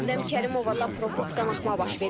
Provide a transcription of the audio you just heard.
Şəbnəm Kərimovada profus qanaxma baş verib.